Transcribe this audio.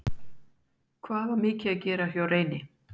Hefur verið mikið að gera hjá Reyni?